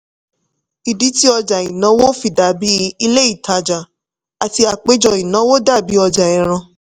ìdí tí ọjà ìnáwó fi dàbí ilé ìtajà àti àpéjọ ìnáwó dàbí ọjà ẹran.